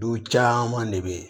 Du caman de bɛ ye